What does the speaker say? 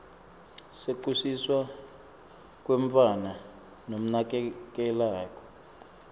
sekusiswa kwemntfwana lomnakekelako